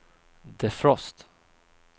defrost